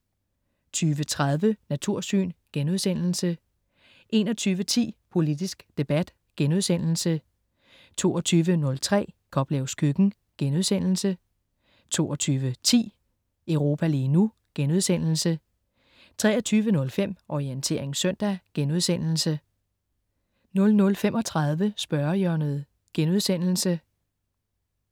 20.30 Natursyn* 21.10 Politisk debat* 22.03 Koplevs køkken* 22.10 Europa lige nu* 23.05 Orientering søndag* 00.35 Spørgehjørnet*